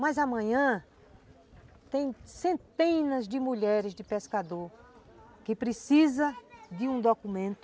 Mas amanhã tem centenas de mulheres de pescadores que precisam de um documento